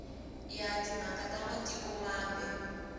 ya timhaka ta matiko mambe